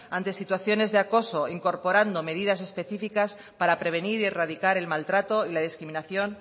ante situaciones de acoso incorporando medidas específicas para prevenir y erradicar el maltrato y la discriminación